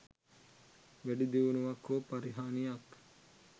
වැඩි දියුණුවක් හෝ පරිහානියක්